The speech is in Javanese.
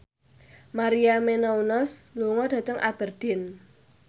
Maria Menounos lunga dhateng Aberdeen